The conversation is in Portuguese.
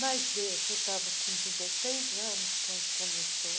Mas, veja, eu estava com dezeseis anos quando começou.